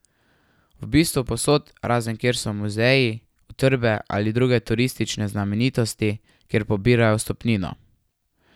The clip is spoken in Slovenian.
V bistvu povsod, razen kjer so muzeji, utrdbe ali druge turistične znamenitosti, kjer pobirajo vstopnino.